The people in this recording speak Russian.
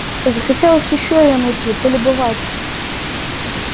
захотелось ещё её найти полюбоваться